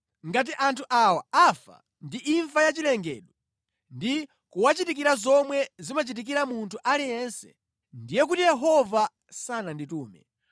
Ngati anthu awa afa ndi imfa ya chilengedwe ndi kuwachitikira zomwe zimachitikira munthu aliyense, ndiye kuti Yehova sananditume.